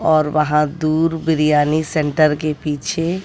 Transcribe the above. और वहां दूर बिरियानी सेंटर के पीछे--